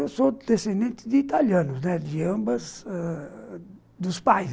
Eu sou descendente de italianos, né, de ambas ãh... dos pais.